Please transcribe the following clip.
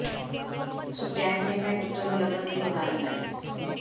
ਸੁਖਚੈਨ ਸਿੰਘ ਨੇ ਪੁੱਤਰ ਨੂੰ ਲੱਭਣ ਦੀ ਗੁਹਾਰ ਲਗਾਈ